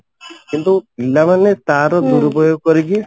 କିନ୍ତୁ ପିଲାମାନେ ତାର ଦୁରୁପଯୋଗ କରିକି